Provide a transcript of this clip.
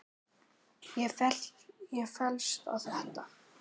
Ég fellst á þetta.